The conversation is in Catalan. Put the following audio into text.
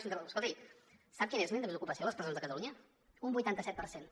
escoltin sap quin és l’índex d’ocupació de les presons de catalunya un vuitanta set per cent